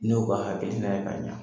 Ne y'u ka hakilina ye k'a ɲa